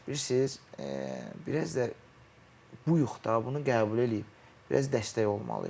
Biraz da bilirsiz, biraz da buyuq da, bunu qəbul eləyib biraz dəstək olmalıyıq.